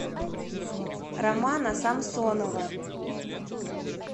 романа самсонова